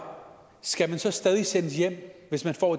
skal man så stadig sendes hjem hvis man får